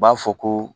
U b'a fɔ ko